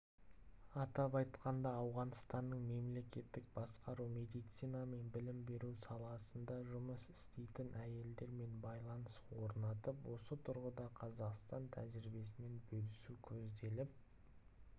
атап айтқанда ауғанстанның мемлекеттік басқару медицина мен білім беру саласында жұмыс істейтін әйелдермен байланыс орнатып осы тұрғыда қазақстан тәжірибесімен бөлісу көзделіп